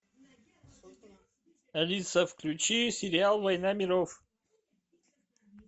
алиса включи сериал война миров